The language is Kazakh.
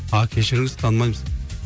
а кешіріңіз танымаймыз